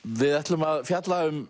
við ætlum að fjalla um